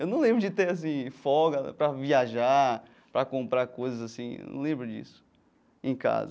Eu não lembro de ter assim folga para viajar, para comprar coisas assim, eu não lembro disso em casa.